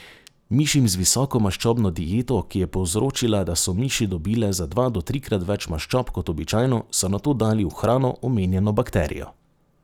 Mišim z visokomaščobno dieto, ki je povzročila, da so miši dobile za dva do trikrat več maščob kot običajno, so nato dali v hrano omenjeno bakterijo.